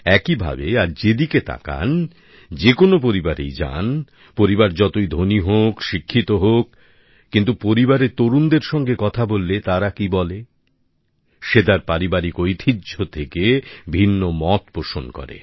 একইভাবে আজ যে দিকেই তাকান যে কোন পরিবারেই যান পরিবার যতই ধনী হোক শিক্ষিত হোক কিন্তু পরিবারে তরুণদের সঙ্গে কথা বললে তারা কি বলে সে তার পারিবারিক ঐতিহ্য থেকে ভিন্ন মত পোষণ করে